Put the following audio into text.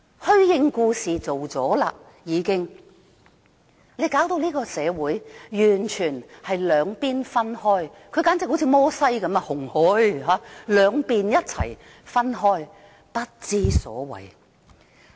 虛應故事已做了，她把這個社會弄得完全分開兩邊——她簡直好像摩西分紅海般，向兩面一起分開，真的不知所謂。